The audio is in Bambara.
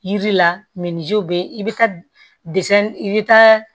Yiri la be i be taa i bi taa